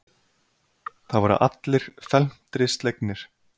Það voru allir felmtri slegnir.